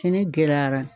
Kɛnɛ gɛlɛyara